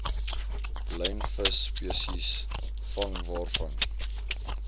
lynvisspesies vang waarvan